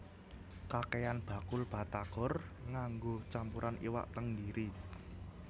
Kakehan bakul batagor nganggo campuran iwak tenggiri